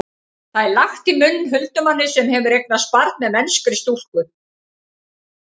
það er lagt í munn huldumanni sem hefur eignast barn með mennskri stúlku